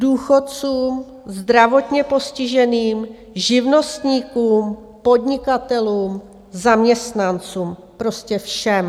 Důchodcům zdravotně postiženým, živnostníkům, podnikatelům, zaměstnancům, prostě všem.